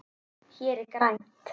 Hér er grænt.